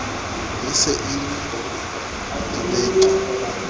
e se e ie dibeke